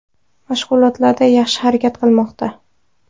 Mashg‘ulotlarda yaxshi harakat qilmoqda.